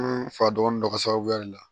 fa dɔgɔnin dɔ ka sababuya de la